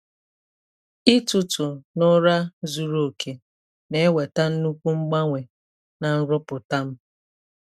Ịtụtụ n’ụra zuru oke na-eweta nnukwu mgbanwe na nrụpụta m.